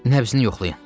Nəbsini yoxlayın.